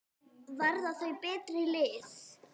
Verða þau betri lið?